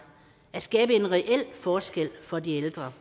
at skabe en reel forskel for de ældre